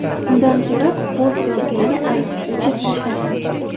Undan ko‘ra post yozganga ayt, o‘chirib tashlasin”.